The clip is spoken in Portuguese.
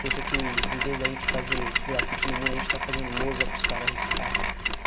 Pensa que, em vez da gente fazer grafite no muro, a gente está fazendo lousa, para os caras riscar.